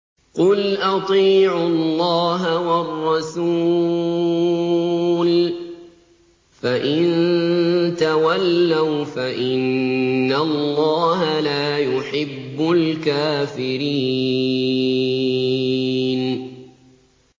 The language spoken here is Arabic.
قُلْ أَطِيعُوا اللَّهَ وَالرَّسُولَ ۖ فَإِن تَوَلَّوْا فَإِنَّ اللَّهَ لَا يُحِبُّ الْكَافِرِينَ